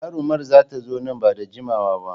Jarumar za ta zo nan ba da jimawa ba.